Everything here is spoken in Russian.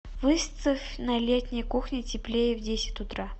выставь на летней кухне теплее в десять утра